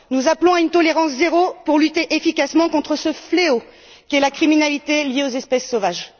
Nous appelons à une tolérance zéro pour lutter efficacement contre ce fléau qu'est la criminalité liée aux espèces sauvages.